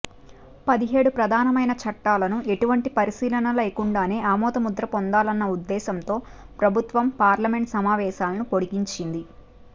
పదిహేడు ప్రధానమైన చట్టాలను ఎటువంటి పరిశీలనా లేకుండానే ఆమోదముద్ర పొందాలన్న ఉద్దేశంతో ప్రభుత్వం పార్లమెంట్ సమావేశాలను పొడిగించింది